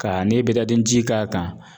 Ka n'i ye ji k'a kan